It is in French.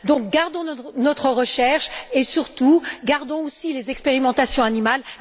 Donc, gardons notre recherche et, surtout, gardons aussi les expérimentations animales.